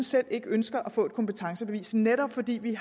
selv ønsker at få et kompetencebevis netop fordi vi